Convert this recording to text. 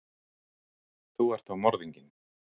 Þú ert þá morðinginn?